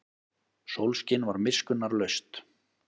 Sólskin var miskunnarlaust.